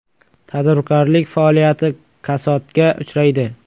Tadbirkorlik faoliyati kasodga uchraydi.